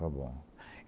Está bom.